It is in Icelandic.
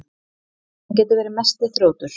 Hann getur verið mesti þrjótur.